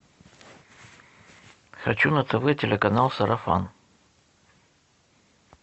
хочу на тв телеканал сарафан